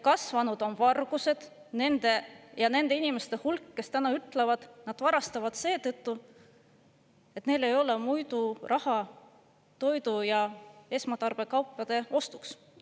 Kasvanud on varguste ja nende inimeste hulk, kes ütlevad, et nad varastavad seetõttu, et neil ei ole muidu raha toidu ja esmatarbekaupade ostmiseks.